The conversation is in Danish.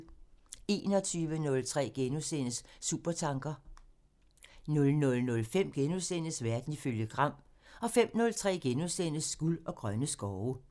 21:03: Supertanker *(tir) 00:05: Verden ifølge Gram *(tir) 05:03: Guld og grønne skove *(tir)